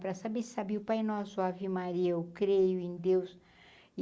Pra saber se sabia o pai nosso, o ave Maria, o creio em Deus.